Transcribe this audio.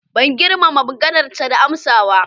Ban girmama maganarsa da amsa ba.